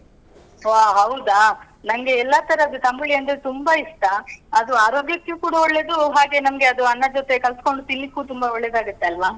ವಾ ಹೌದಾ? ನಂಗೆ ಎಲ್ಲ ತರದ್ ತಂಬ್ಳಿ ಅಂದ್ರೆ ತುಂಬಾ ಇಷ್ಟ. ಅದು ಆರೋಗ್ಯಕ್ಕೆ ಕೂಡ ಒಳ್ಳೇದು. ಹಾಗೆ ನಮ್ಗೆ ಅದು ಅನ್ನದ್ ಜೊತೆ ಕಲ್ಸ್ಕೊಂಡು ತಿನ್ಲಿಕ್ಕೂ ತುಂಬ ಒಳ್ಳೆದಾಗುತ್ತೆ ಅಲ್ವಾ?